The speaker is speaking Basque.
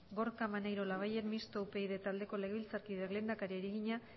gorka maneiro labayen mistoa upyd taldeko legebiltzarkideak lehendakariari egina